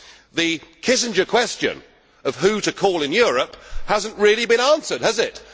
The Kissinger question of who to call in Europe has not really been answered, has it?